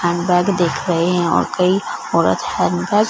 hand bag दिख रहे हैं और कई औरत हैंड बैग --